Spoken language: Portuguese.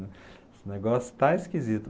Esse negócio está esquisito.